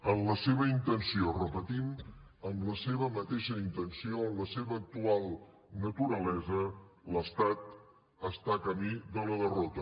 en la seva intenció ho repetim en la seva mateixa intenció en la seva actual naturalesa l’estat està camí de la derrota